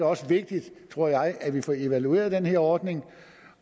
også vigtigt tror jeg at vi får evalueret den her ordning